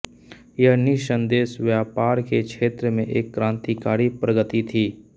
यह निःसंदेह व्यापार के क्षेत्र में एक क्रांतिकारी प्रगति थी